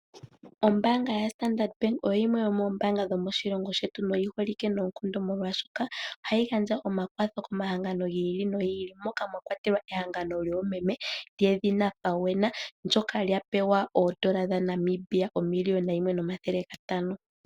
Ombaanga ya Standard Bank oyo yimwe yomoombanga dhomoshilongo shetu noyi holike noonkondo molwaashoka ohayi gandja omakwatho komahangano gi ili nogi ili moka mwakwatelwa ehangano lyoomeme lyedhina FAWENA ndyoka lya pewa oondola dha Namibia 1 500 000.00.